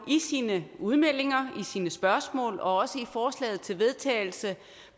i sine udmeldinger i sine spørgsmål og også i forslaget til vedtagelse